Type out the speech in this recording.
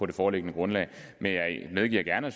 det foreliggende grundlag men jeg medgiver gerne at